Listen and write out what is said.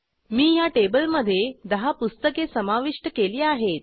मी ह्या टेबलमधे 10 पुस्तके समाविष्ट केली आहेत